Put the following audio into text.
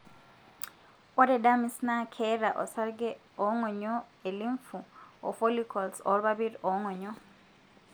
Ore dermis na keeta osarge ongonyo e limfu, ofollicles olpapit, ongonyo.